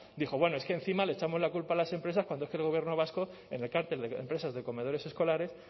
dijo bueno es que encima le echamos la culpa a las empresas cuando es que el gobierno vasco en el cártel de empresas de comedores escolares